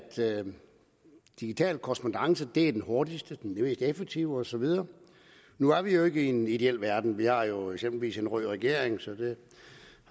digital korrespondance er den hurtigste den mest effektive og så videre nu er vi jo ikke i en ideel verden vi har jo eksempelvis en rød regering så det